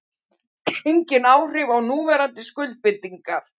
Engin áhrif á núverandi skuldbindingar